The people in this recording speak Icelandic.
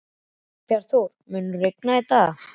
Bjarnþór, mun rigna í dag?